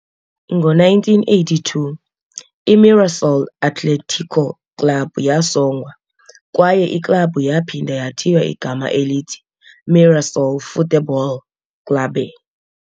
Ngo-1982, i-Mirassol Atlético Clube yasongwa, kwaye iklabhu yaphinda yathiywa igama elithi Mirassol Futebol Clube.